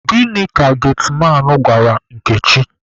Gịnị ka getiman gwara Nkechi?